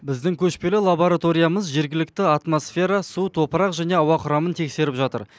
біздің көшпелі лабораториямыз жергілікті атмосфера су топырақ және ауа құрамын тексеріп жатыр